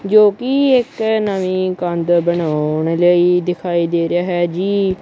ਜੋ ਕੀ ਇੱਕ ਨਵੀਂ ਕੰਧ ਬਣਾਉਣ ਲਈ ਦਿਖਾਈ ਦੇ ਰਿਹਾ ਹੈ ਜੀ।